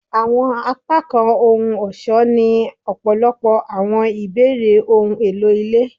Awọn apakan ohun-ọṣọ ni ọpọlọpọ awọn ibeere ohun elo ile